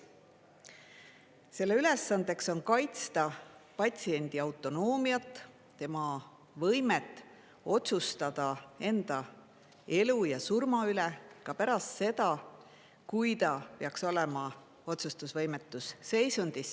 Selle ülesandeks on kaitsta patsiendi autonoomiat, tema võimet otsustada enda elu ja surma üle ka pärast seda, kui ta peaks olema otsustusvõimetus seisundis.